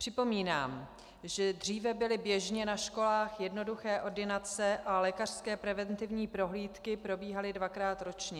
Připomínám, že dříve byly běžně na školách jednoduché ordinace a lékařské preventivní prohlídky probíhaly dvakrát ročně.